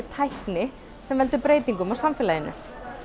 tækni sem valdi breytingum í samfélaginu